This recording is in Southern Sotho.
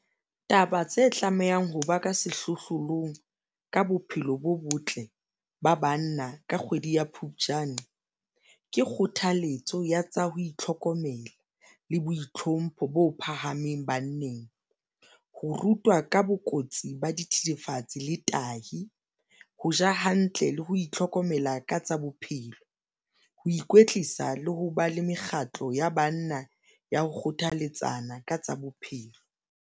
Taba tse tlamehang ho ba ka sehlohlolong ka bophelo bo botle ba banna, ka kgwedi ya Phupjane ke kgothaletso ya tsa ho itlhokomela le boitlhompho bo phahameng banneng, ho rutwa ka bokotsi ba dithethefatsi le tahi, ho ja hantle le ho itlhokomela ka tsa bophelo, ho ikwetlisa le ho ba le mekgatlo ya banna ya ho kgothalletsa bana ka tsa bophelo.